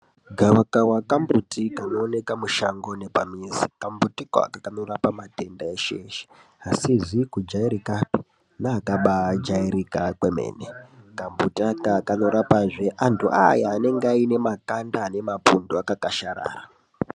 Gavakava kambuti kanooneka mushango nepamizi. Kambutiko aka kanorapa matenda eshe-eshe, asizi kujairikapi neakabajairika kwemene. Kambuti aka kanorapazve antu aya anenge aine makanda ane mapundu akakasharara.